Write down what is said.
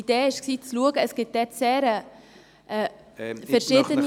Die Idee war, zu schauen, ob es dort ...